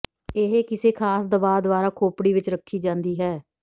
ਇਹ ਕਿਸੇ ਖਾਸ ਦਬਾਅ ਦੁਆਰਾ ਖੋਪੜੀ ਵਿੱਚ ਰੱਖੀ ਜਾਂਦੀ ਹੈ